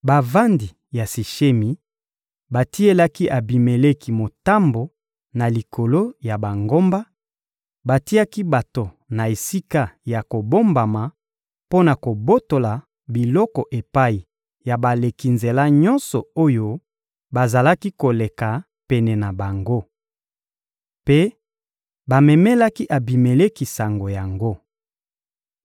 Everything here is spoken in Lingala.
Bavandi ya Sishemi batielaki Abimeleki motambo na likolo ya bangomba: batiaki bato na esika ya kobombama mpo na kobotola biloko epai ya baleki nzela nyonso oyo bazalaki koleka pene na bango. Mpe bamemelaki Abimeleki sango yango.